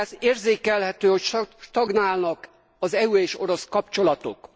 Érzékelhető, hogy stagnálnak az EU és orosz kapcsolatok.